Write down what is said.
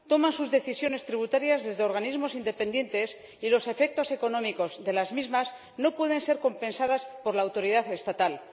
Toman sus decisiones tributarias desde organismos independientes y los efectos económicos de las mismas no pueden ser compensados por la autoridad estatal.